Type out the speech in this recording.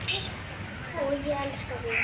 Og ég elska þig!